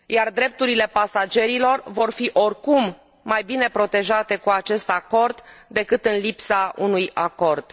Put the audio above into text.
Drepturile pasagerilor vor fi oricum mai bine protejate cu acest acord decât în lipsa acestuia.